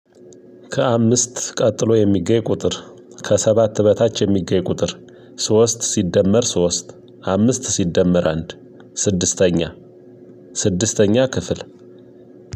ከአምስት ቀጥሎ የሚገኝ ቁጥር ከሰባት በታች የሚገኝ ቁጥር። ሶስት ሲደመር ሶስት አምስት ሲደመር አንድ ስድስተኛ ስድስተኛ ክፍል።